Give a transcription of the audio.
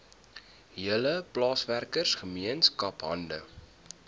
hele plaaswerkergemeenskap hande